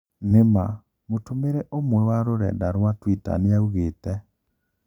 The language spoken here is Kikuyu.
"Nĩma", mũtũmĩri ũmwe wa rurenda rwa Twitter nĩaugĩte